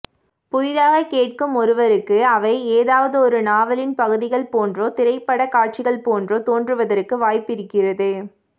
புதிதாகக் கேட்கும் ஒருவருக்கு அவை ஏதாவதொரு நாவலின் பகுதிகள் போன்றோ திரைப்படக் காட்சிகள் போன்றோ தோன்றுவதற்கு வாய்ப்பிருக்கிறது